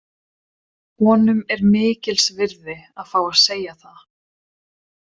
Honum er mikils virði að fá að segja það.